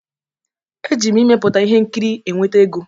Eji m ịmepụta ihe nkiri enweta ego.